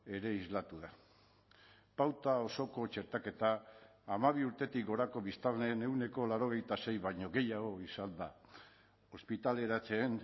ere islatu da pauta osoko txertaketa hamabi urtetik gorako biztanleen ehuneko laurogeita sei baino gehiago izanda ospitaleratzeen